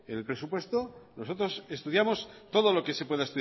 en el presupuesto nosotros estudiamos todo lo que se pueda